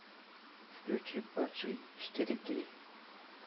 включи падший четыре кей